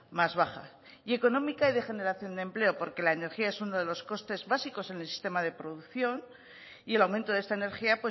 más baja y económica y de generación de empleo porque la energía es uno de los costes básicos en el sistema de producción y el aumento de esta energía